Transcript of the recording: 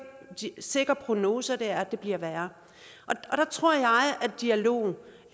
sikker prognose og det er at det bliver værre der tror jeg at dialogen